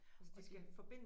Og det